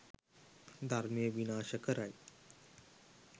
ධර්මය විනාශ කරයි.